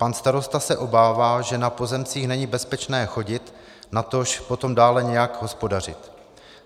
Pan starosta se obává, že na pozemcích není bezpečné chodit, natož potom dále nějak hospodařit.